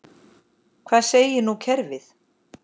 Hvað segir nú kerfið?